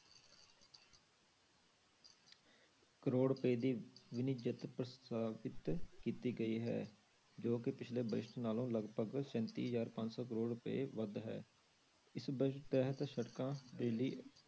ਕਰੌੜ ਰੁਪਏ ਦੀ ਪ੍ਰਸਤਾਵਿਤ ਕੀਤੀ ਗਈ ਹੈ, ਜੋ ਕਿ ਪਿਛਲੇ ਵਰਿਸ਼ਟ ਨਾਲੋਂ ਲਗਪਗ ਸੈਂਤੀ ਹਜ਼ਾਰ ਪੰਜ ਸੌ ਕਰੌੜ ਰੁਪਏ ਵੱਧ ਹੈ, ਇਸ budget ਤਹਿਤ ਸੜਕਾਂ ਦੇ ਲਈ